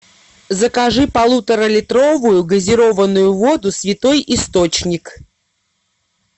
закажи полуторалитровую газированную воду святой источник